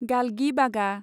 गालगिबागा